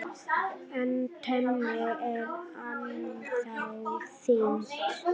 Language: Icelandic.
En tönnin er ennþá týnd.